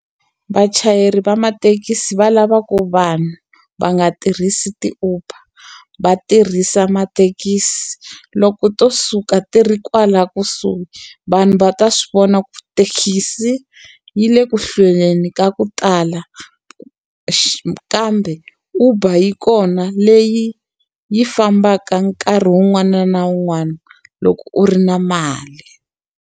Vachayeri va mathekisi va lava ku vanhu va nga tirhisi ti-Uber, va tirhisa mathekisi. Loko to suka tirhi kwala kusuhi, vanhu va ta swi vona ku thekisi yi le ku hlweleni ka ku tala kambe Uber yi kona leyi yi fambaka nkarhi wun'wana na wun'wana loko u ri na mali.